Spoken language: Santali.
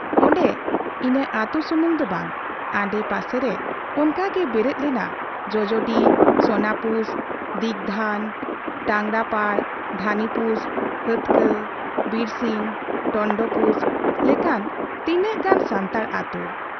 ᱚᱱᱰᱮ ᱤᱱᱟᱹ ᱟᱹᱛᱩ ᱥᱩᱢᱩᱝ ᱫᱚ ᱵᱟᱝ, ᱟᱰᱮ ᱯᱟᱥᱮ ᱨᱮ ᱚᱱᱠᱟᱜᱮ ᱵᱮᱨᱮᱫ ᱞᱮᱱᱟ ᱡᱚᱡᱚᱰᱤ, ᱥᱚᱱᱟᱯᱩᱥ, ᱫᱤᱜᱽᱫᱷᱟᱹᱱ, ᱴᱟᱸᱜᱽᱨᱟᱯᱟᱲ, ᱫᱷᱟᱱᱤᱯᱩᱥ, ᱦᱟᱹᱛᱠᱟᱹ, ᱵᱤᱨᱥᱤᱧ, ᱴᱚᱱᱴᱚᱯᱩᱥ ᱞᱮᱠᱟᱱ ᱛᱤᱱᱟᱹᱜ ᱜᱟᱱ ᱥᱟᱱᱛᱟᱲ ᱟᱹᱛᱩ ᱾